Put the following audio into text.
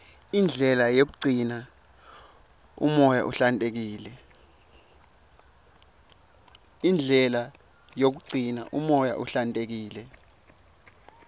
indlela yokugcina umoya uhlantekile